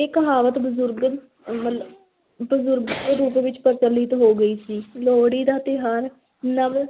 ਇਹ ਕਹਾਵਤ ਬਜ਼ੁਰਗ ਵੱਲੋਂ ਦੇ ਰੂਪ ਵਿੱਚ ਪ੍ਰਚਲਿਤ ਹੋ ਗਈ ਸੀ, ਲੋਹੜੀ ਦਾ ਤਿਉਹਾਰ ਨਵ